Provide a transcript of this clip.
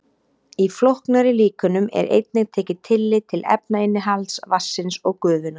Í flóknari líkönum er einnig tekið tillit til efnainnihalds vatnsins og gufunnar.